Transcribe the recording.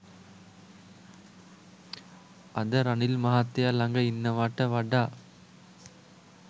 අද රනිල් මහත්තයා ළග ඉන්නවාට වඩා